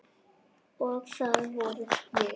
Og það vorum við.